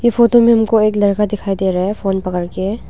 photo में हमको एक लड़का दिखाई दे रहा है फोन पकड़ के--